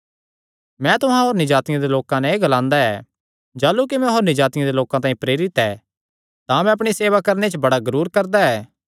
मैं तुहां होरनी जातिआं दे लोकां नैं एह़ गल्लां ग्लांदा ऐ जाह़लू कि मैं होरनी जातिआं दे लोकां तांई प्रेरित ऐ तां मैं अपणी सेवा करणे च बड़ा गरूर करदा ऐ